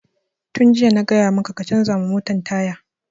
Tun jiya na gaya maka ka canza wa motan taya!